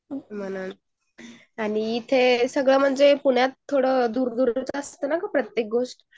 म्हणून आणि इथे पुण्यात आगळ दूर दुर असते ना प्रत्येक गोस्ट